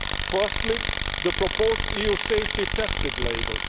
Firstly, the proposed EU safety tested' label.